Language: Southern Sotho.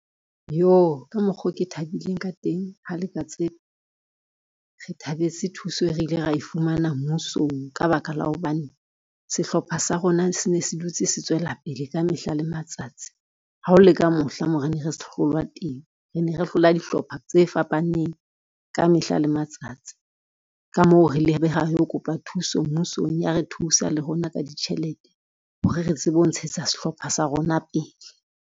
Yoh ka mokgo ke thabileng ka teng ha le ka tseba, re thabetse thuso e re ile ra e fumana mmusong ka baka la hobane, sehlopha sa rona se ne se dutse se tswela pele ka mehla le matsatsi. Ha ho le ka mohla moo re ne re hlolwa teng, re ne re hlola dihlopha tse fapaneng ka mehla le matsatsi. Ka mo re lebe ho yo kopa thuso mmusong ya re thusa le rona ka ditjhelete hore re tsebe ho ntshetsa sehlopha sa rona pele.